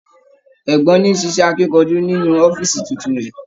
Ẹ̀gbọ́n ni ṣiṣẹ akínkanjú nínú ọ̀fiísí títún rẹ.